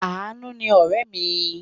Àánú ni ọ̀rẹ́ mi.